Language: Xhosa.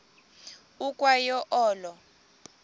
ukwa yo olo